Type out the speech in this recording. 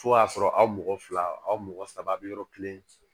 Fo y'a sɔrɔ aw mɔgɔ fila aw mɔgɔ saba bɛ yɔrɔ kelen